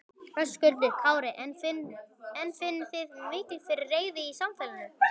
Höskuldur Kári: En finnið þið fyrir mikilli reiði í samfélaginu?